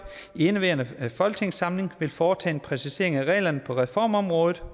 i indeværende folketingssamling vil foretage en præcisering af reglerne på reformområdet